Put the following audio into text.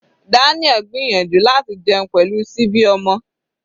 Daniel gbìyànjú láti jẹun pẹ̀lú síbi ọmọ.